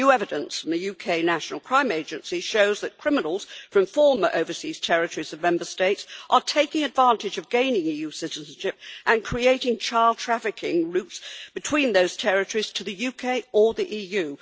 New evidence from the UK National Crime Agency shows that criminals from former overseas territories of Member States are taking advantage of gaining EU citizenship and creating child trafficking routes between those territories to the UK or the EU.